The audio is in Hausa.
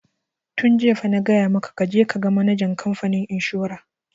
Tun jiya fa na gaya maka ka je ka ga manajan kamfanin inshora!